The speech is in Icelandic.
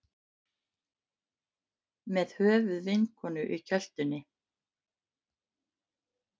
Með höfuð vinkonu í kjöltunni